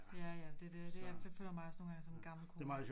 Ja ja det det det jeg føler mig også nogle gange som en gammel kone